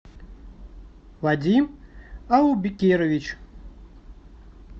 вадим аубекирович